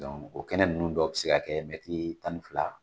o kɛnɛ ninnu dɔw bɛ se ka kɛ mɛtiri tan ni fila